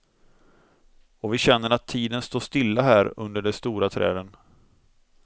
Och vi känner att tiden står stilla här under de stora träden.